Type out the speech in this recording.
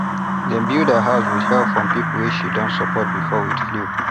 dem build her house with help from people wey she don support before with fowl